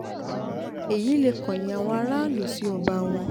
èyí lè um kọ̀yìn àwọn aráàlú sí ọba wọn